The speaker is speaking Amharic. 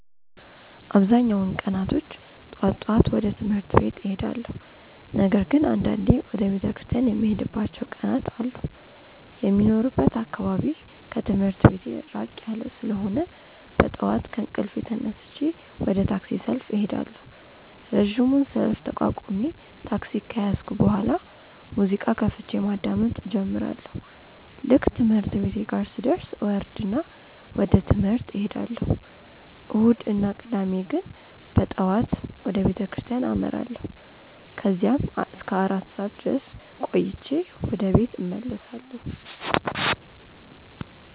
አብዛኛውን ቀናቶች ጠዋት ጠዋት ወደ ትምህርት ቤት እሄዳለሁ። ነገር ግን አንዳንዴ ወደ ቤተክርስቲያን የምሄድባቸው ቀናት አሉ። የሚኖርበት አካባቢ ከትምህርት ቤቴ ራቅ ያለ ስለሆነ በጠዋት ከእንቅልፌ ተነስቼ ወደ ታክሲ ሰልፍ እሄዳለሁ። ረጅሙን ሰልፍ ተቋቁሜ ታክሲ ከያዝኩ በኋላ ሙዚቃ ከፍቼ ማዳመጥ እጀምራለሁ። ልክ ትምህርት ቤቴ ጋር ስደርስ እወርድና ወደ ትምህርት እሄዳለሁ። እሁድ እና ቅዳሜ ግን በጠዋት ወደ ቤተክርስቲያን አመራለሁ። ከዛም እስከ አራት ሰዓት ድረስ ቆይቼ ወደ ቤት እመለሳለሁ።